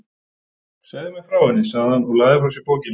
Segðu mér frá henni, sagði hann og lagði frá sér bókina.